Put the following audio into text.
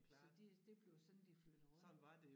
Så de det blev sådan de flyttede rundt